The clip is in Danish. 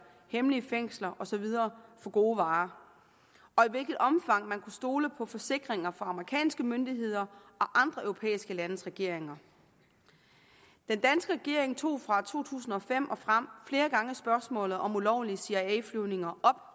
hemmelige fængsler og så videre for gode varer og i hvilket omfang man kunne stole på forsikringer fra amerikanske myndigheder og andre europæiske landes regeringer den danske regering tog fra to tusind og fem og frem flere gange spørgsmålet om ulovlige cia flyvninger